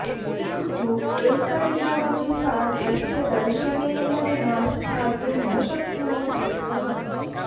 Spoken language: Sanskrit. किन्तु एकदिनमपि सा तस्य दर्शनेन विना स्थातुं न शक्नोति स्म